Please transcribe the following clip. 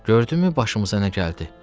gördünmü başımıza nə gəldi?